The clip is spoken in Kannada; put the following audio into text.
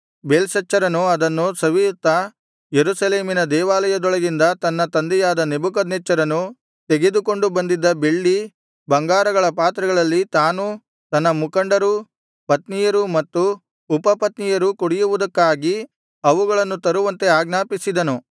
ಬೇಲ್ಶಚ್ಚರನು ಅದನ್ನು ಸವಿಯುತ್ತಾ ಯೆರೂಸಲೇಮಿನ ದೇವಾಲಯದೊಳಗಿನಿಂದ ತನ್ನ ತಂದೆಯಾದ ನೆಬೂಕದ್ನೆಚ್ಚರನು ತೆಗೆದುಕೊಂಡು ಬಂದಿದ್ದ ಬೆಳ್ಳಿ ಬಂಗಾರಗಳ ಪಾತ್ರೆಗಳಲ್ಲಿ ತಾನೂ ತನ್ನ ಮುಖಂಡರೂ ಪತ್ನಿಯರೂ ಮತ್ತು ಉಪಪತ್ನಿಯರೂ ಕುಡಿಯುವುದಕ್ಕಾಗಿ ಅವುಗಳನ್ನು ತರುವಂತೆ ಆಜ್ಞಾಪಿಸಿದನು